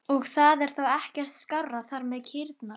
Og það er þá ekkert skárra þar með kýrnar?